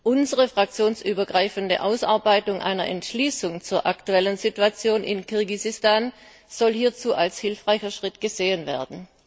Unsere fraktionsübergreifende Ausarbeitung einer Entschließung zur aktuellen Situation in Kirgisistan soll hierzu als hilfreicher Schritt gesehen werden.